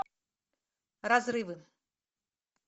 разрывы